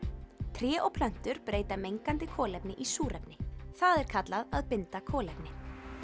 tré og plöntur breyta mengandi kolefni í súrefni það er kallað að binda kolefni